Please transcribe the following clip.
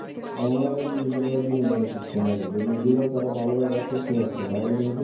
Online এ বিভিন্ন ধরনের বিনোদনের system আছে যদি এগুলা তারা ভালো ব্যবহার করতে পারতো তাহলে কিন্তু